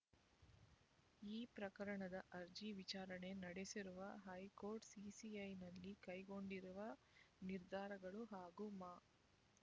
ಈ ಪ್ರಕರಣದ ಅರ್ಜಿ ವಿಚಾರಣೆ ನಡೆಸಿರುವ ಹೈಕೋರ್ಟ್ ಸಿಸಿಐ ನಲ್ಲಿ ಕೈಗೊಂಡಿರುವ ನಿರ್ಧಾರಗಳು ಹಾಗೂ ಮಾ